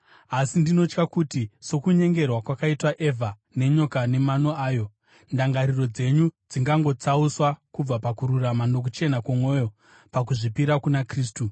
Asi ndinotya kuti sokunyengerwa kwakaitwa Evha nenyoka nemano ayo, ndangariro dzenyu dzingangotsauswa kubva pakururama nokuchena kwomwoyo, pakuzvipira kuna Kristu.